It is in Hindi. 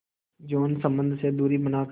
यौन संबंध से दूरी बनाकर